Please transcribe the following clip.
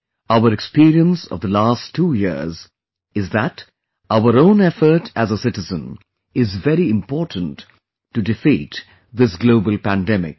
Our experience of the last two years is that our own effort as a citizen is very important to defeat this global pandemic